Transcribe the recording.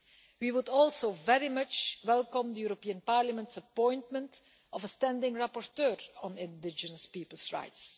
We would also very much welcome the European Parliament's appointment of a standing rapporteur on indigenous peoples' rights.